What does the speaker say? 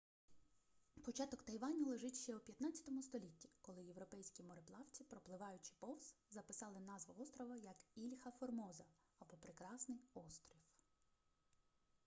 початок тайваню лежить ще у 15-му столітті коли європейські мореплавці пропливаючи повз записали назву острова як ільха формоза або прекрасний острів